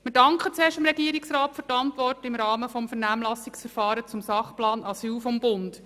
Wir danken dem Regierungsrat für die Antwort im Rahmen des Vernehmlassungsverfahrens zum Sachplan Asyl des Bundes.